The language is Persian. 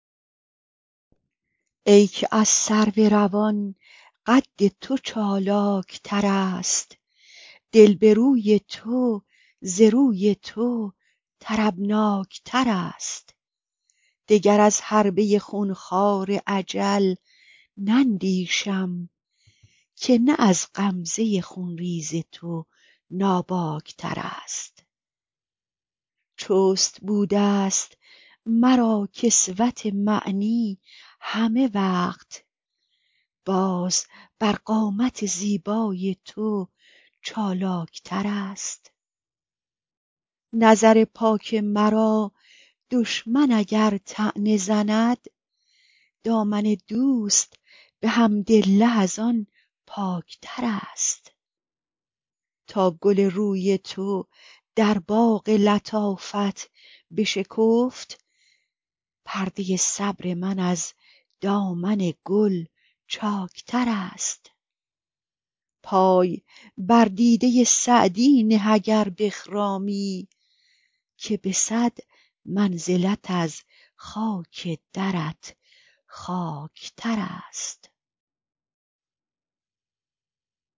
ای که از سرو روان قد تو چالاک ترست دل به روی تو ز روی تو طربناک ترست دگر از حربه خون خوار اجل نندیشم که نه از غمزه خون ریز تو ناباک ترست چست بوده ست مرا کسوت معنی همه وقت باز بر قامت زیبای تو چالاک ترست نظر پاک مرا دشمن اگر طعنه زند دامن دوست به حمدالله از آن پاک ترست تا گل روی تو در باغ لطافت بشکفت پرده صبر من از دامن گل چاک ترست پای بر دیده سعدی نه اگر بخرامی که به صد منزلت از خاک درت خاک ترست